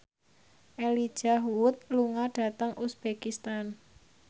Elijah Wood lunga dhateng uzbekistan